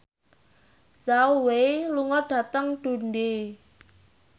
Zhao Wei lunga dhateng Dundee